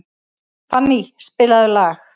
Fanny, spilaðu lag.